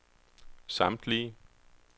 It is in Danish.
samtlige